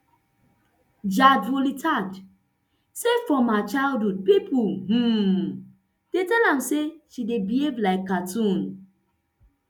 jadrolita say from her childhood pipo um dey tell am say she dey behave like cartoon